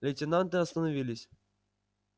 лейтенанты остановились